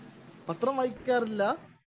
Speaker 1 പത്രം വായിക്കാറില്ല.